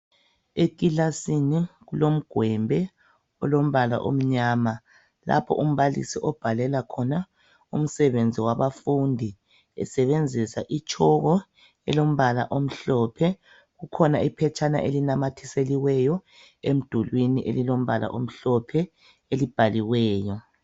Ekilasini kulomgwembe olombala omnyama lapho umbalisi obhalela khona umsebenzi wabafundi esebenzisa itshoko elombala omhlophe, kukhona iphetshana elinamathiselweyo emdulwini elilombala omhlophe elibhaliweyo